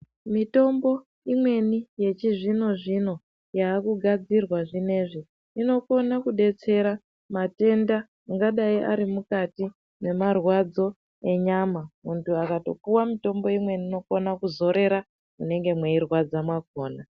Mitombo imweni yechizvino zvino yava kugadzirwa zvino izvi inokona kudetsera matenda anodai ari mukati marwadzo enyama. Muntu akatopuhwa mitombo imweni inogona kuzorera munenge meirwadza makona.